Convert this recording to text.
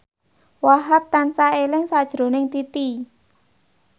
Wahhab tansah eling sakjroning Titi